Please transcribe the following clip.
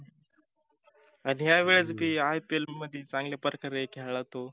आणि ह्या वेळेस बी IPL मध्ये चांगल्या प्रकारे खेळला तो.